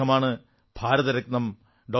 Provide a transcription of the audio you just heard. അദ്ദേഹമാണ് ഭാരതരത്നം ഡോ